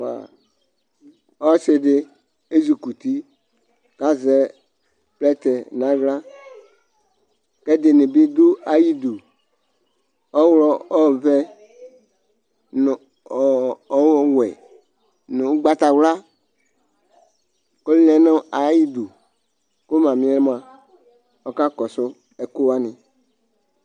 ɔsi di ɛzukuti kazɛ plɛtɛ nala kʋ ɛdini bi du ayidu ɔwulɔ ovɛ nʋ ɔ ɔwɛ nʋ ugbata wula kɔ lɛ nʋ ayidʋ kʋ mamiɛ mua ɔka kɔsʋ ɛkʋani